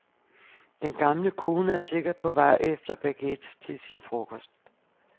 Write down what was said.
Den gamle kone er sikkert på vej efter baguettes til frokosten.